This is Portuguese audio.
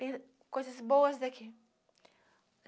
Tem coisas boas daqui.